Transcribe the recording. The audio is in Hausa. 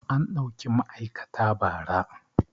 An ɗauki ma'aikata ba ra